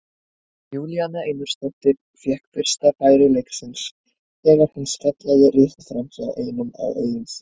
Júlíana Einarsdóttir fékk fyrsta færi leiksins þegar hún skallaði rétt framhjá ein á auðum sjó.